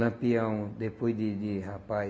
Lampião, depois de de rapaz,